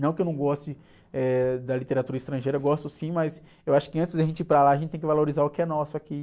Não que eu não goste, eh, da literatura estrangeira, gosto sim, mas eu acho que antes de a gente ir para lá, a gente tem que valorizar o que é nosso aqui.